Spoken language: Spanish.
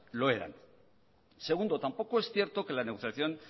lo eran segundo tampoco es cierto que la negociación